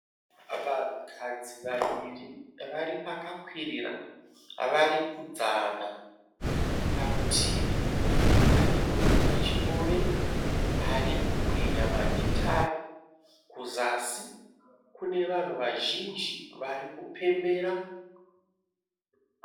Vanhukadzi vaviri. Varipakakwirira. Varikudzana. Parutivi pane munhu wechirume arikukwenya magitari. Kuzasi kune vanhu vazhinji varikupembera.